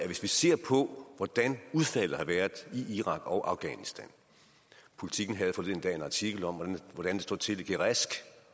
hvis vi ser på hvordan udfaldet har været i irak og afghanistan politiken havde forleden dag en artikel om hvordan det står til i gereshk